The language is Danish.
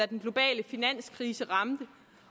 den globale finanskrise ramte